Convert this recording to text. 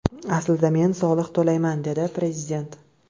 Aslida, men soliq to‘layman”, – dedi prezident.